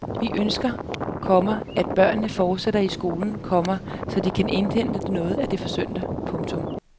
Vi ønsker, komma at børnene fortsætter i skole, komma så de kan indhente noget af det forsømte. punktum